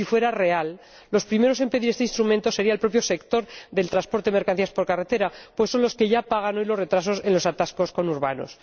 Si fuera real, el primero en pedir este instrumento sería el propio sector del transporte de mercancías por carretera, pues es el que ya paga hoy los retrasos en los atascos conurbanos.